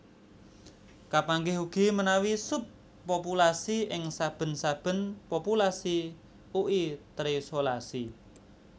Kapanggih ugi menawi sub populasi ing saben saben populasi ui terisolasi